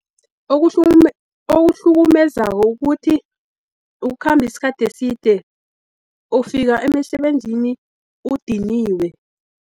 Okuhlukumezako ukuthi, ukukhambi isikhathi eside, ufika emisebenzini udiniwe.